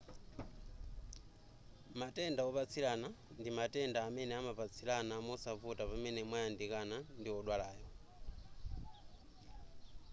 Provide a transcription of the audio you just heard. matenda opatsilana ndi matenda amene amapatsilana mosavuta pamene mwayandikana ndi odwalayo